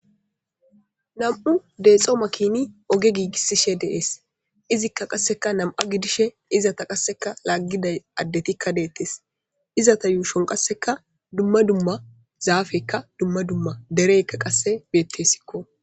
Nam'u deexo makini oge giigisishe dees izikka qasseka nam7a gidishe izata qasseka laaggiday addetikka deettes izata yuushon qasseka dumma dumma zaafekka dumma dumma dereykka qasse beettesikko.